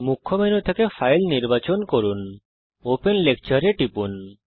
মুখ্য মেনু থেকে ফাইল নির্বাচন করুন ওপেন লেকচার এ টিপুন